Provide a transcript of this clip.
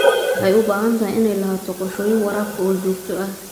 Waxay u baahan tahay inay lahaato qorshooyin waraabka oo joogto ah.